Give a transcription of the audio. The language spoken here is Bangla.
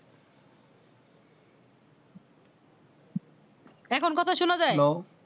এখন কথা সোনা যাই